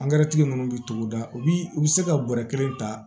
ninnu bɛ togoda u bi u bi se ka bɔrɔ kelen ta